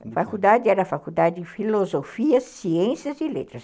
A faculdade era a Faculdade de Filosofia, Ciências e Letras.